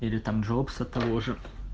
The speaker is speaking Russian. или там джобса того же